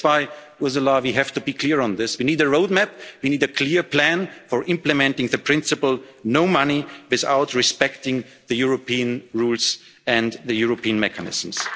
no link. That's why, Ursula, we have to be clear on this. We need a roadmap, we need a clear plan for implementing the principle no money without respecting the European rules and the European mechanisms.